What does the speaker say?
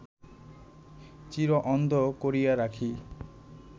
চির-অন্ধ করিয়া রাখি